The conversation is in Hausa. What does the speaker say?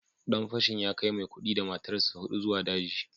Dan fashin ya kai Maikudi da matarsa ​​hudu zuwa daji